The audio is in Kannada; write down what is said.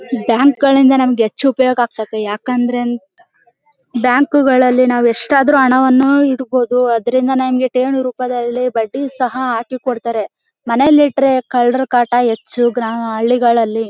ಬ್ಯಾಂಕ್ ಗಳಿಂದ ನಮಗೆ ಹೆಚ್ಚು ಉಪಯೋಗ ಆಗತೈತೆ ಯಾಕಂದ್ರೆ ಬ್ಯಾಂಕ್ ಗಳಲ್ಲಿ ನಾವ್ ಎಷ್ಟಾದ್ರೂ ಹಣವನ್ನು ಇಡಬಹುದು ಅದ್ರಿಂದ ಠೇವಣಿ ರೂಪದಲ್ಲಿ ಬಡ್ಡಿ ಸಹ ಹಾಕಿ ಕೊಡ್ತಾರೆ ಮನೇಲಿ ಇದ್ರೆ ಕಳ್ಳರ ಕಾಟ ಹೆಚ್ಚು ಹಳ್ಳಿಗಳಲ್ಲಿ.